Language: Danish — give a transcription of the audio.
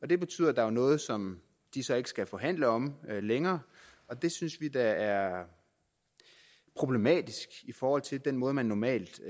det betyder at der er noget som de så ikke skal forhandle om længere og det synes vi da er problematisk i forhold til den måde man normalt